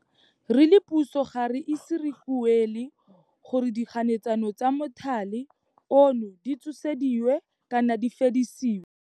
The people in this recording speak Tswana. Re le puso ga re ise re ikuele gore dikganetsano tsa mothale ono di tshosediwe kana di fedisiwe.